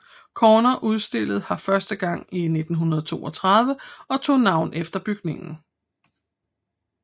Corner udstillede her første gang i 1932 og tog navn efter bygningen